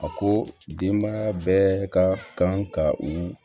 A ko denbaya bɛɛ ka kan ka u